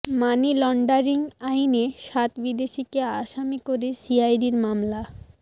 মানি laundering আইনে সাত বিদেশিকে আসামি করে সিআইডির মামলা